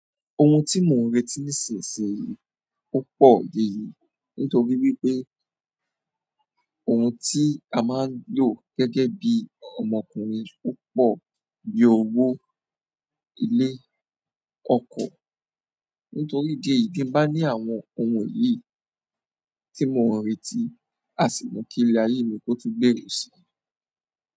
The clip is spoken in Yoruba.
Ohun ti mo n reti nísinsìnyí o pọ yeye nítorí wípé ohun tí a máa ń lò gẹ́gẹ́ bí ọmọkùnrin púpọ̀ bí owó, ilé, ọkọ̀. Nítorí ìdí èyí ti n bá ní àwọn ohun yìí tí mò ń retí, a sì mu kí ilé ayé mi kó tun gbèrú si.